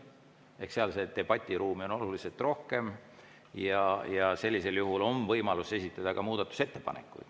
Ehk seda debatiruumi on oluliselt rohkem ja sellisel juhul on võimalus esitada ka muudatusettepanekuid.